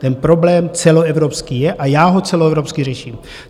Ten problém celoevropský je a já ho celoevropsky řeším.